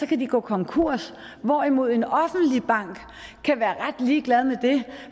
kan de gå konkurs hvorimod en offentlig bank kan være ret ligeglad med det